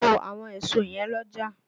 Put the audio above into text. To àwọn èso yẹ̀n l'ọ́jà!